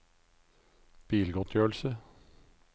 bilgodtgjørelse